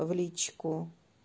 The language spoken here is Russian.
в личку